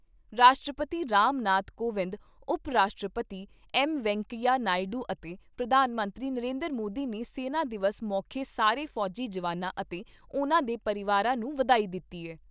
ਰਾਸ਼ਟਰਪਤੀ ਰਾਮ ਨਾਥ ਕੋਵਿੰਦ, ਉਪ ਰਾਸ਼ਟਰਪਤੀ ਐੱਮ ਵੈਂਕਈਆ ਨਾਇਡੂ ਅਤੇ ਪ੍ਰਧਾਨ ਮੰਤਰੀ ਨਰਿੰਦਰ ਮੋਦੀ ਨੇ ਸੈਨਾ ਦਿਵਸ ਮੌਖੇ ਸਾਰੇ ਫੌਜੀ ਜਵਾਨਾਂ ਅਤੇ ਉਨ੍ਹਾਂ ਦੇ ਪਰਿਵਾਰਾਂ ਨੂੰ ਵਧਾਈ ਦਿੱਤੀ ਏ।